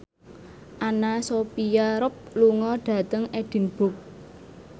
Anna Sophia Robb lunga dhateng Edinburgh